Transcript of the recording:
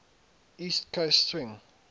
east coast swing